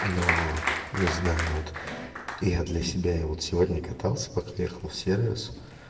ну не знаю вот я для себя я вот сегодня катался пока ехал в сервис